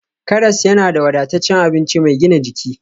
Karas yana da wadataccen abinci mai gina jiki